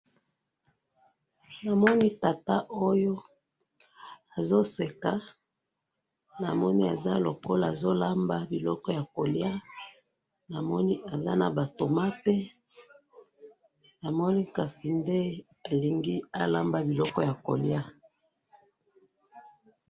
namoni tata oyo azo seka, namoni aza lokola, azo lamba biloko ya kolya, namoni aza naba tomates, namoni kasi nde alengi alamba biloko ya kolya